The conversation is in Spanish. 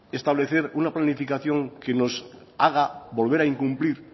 establecer una planificación que nos haga volver a incumplir